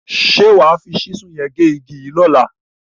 Ṣé wà á fi ṣísù yẹn gé igi yìí lọ́la?